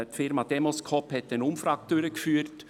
Die Firma Demoscope hat eine Umfrage durchgeführt.